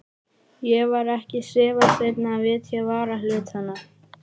Ég var ekki svifaseinn að vitja varahlutanna.